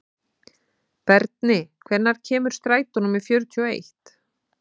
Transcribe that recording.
Berni, hvenær kemur strætó númer fjörutíu og eitt?